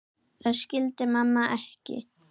Það skildi mamma ekki.